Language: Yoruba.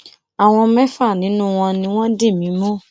àwọn mẹfà nínú wọn ni wọn dì mí mú